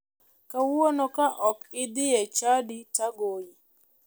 Kawuono ka ok idhi e chadi to agoyi.